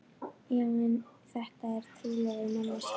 Já en þetta er trúlofuð manneskja.